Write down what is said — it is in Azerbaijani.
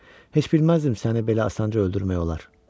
Heç bilməzdim səni belə asanca öldürmək olar.